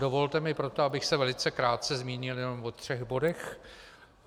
Dovolte mi proto, abych se velice krátce zmínil jenom o třech bodech.